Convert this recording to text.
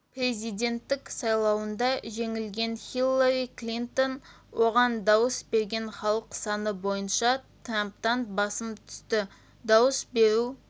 президенттік сайлауында жеңілген хиллари клинтон оған дауыс берген халық саны бойынша трамптан басым түсті дауыс беру